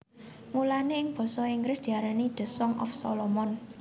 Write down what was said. Mulané ing basa Inggris diarani The Song of Solomon